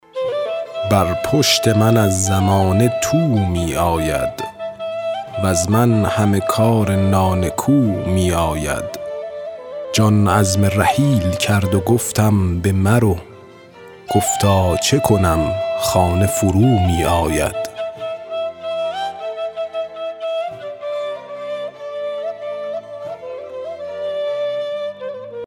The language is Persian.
بر پشت من از زمانه تو می آید وز من همه کار نانکو می آید جان عزم رحیل کرد و گفتم بمرو گفتا چه کنم خانه فرومی آید